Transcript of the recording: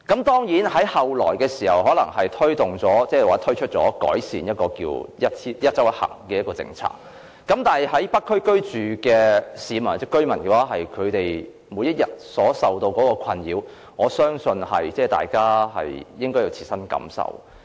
當然，政府後來推出"一周一行"的改善政策，但在北區居住的市民或居民每天受到的困擾，我相信大家應該有切身感受。